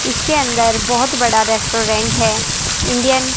इसके अंदर बहोत बड़ा रेस्टोरेंट है इंडियन --